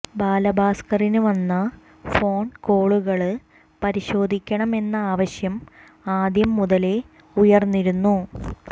ബാലഭാസ്കറിന് വന്ന ഫോണ് കോളുകള് പരിശോധിക്കണം എന്ന ആവശ്യം ആദ്യം മുതലേ ഉയര്ന്നിരുന്നു